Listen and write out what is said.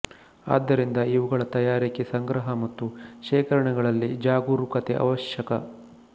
ಆದ್ದರಿಂದ ಇವುಗಳ ತಯಾರಿಕೆ ಸಂಗ್ರಹ ಮತ್ತು ಶೇಖರಣೆಗಳಲ್ಲಿ ಜಾಗರೂಕತೆ ಅವಶ್ಯಕ